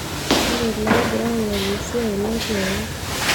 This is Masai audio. ore iloogira aingoru asiai netu eim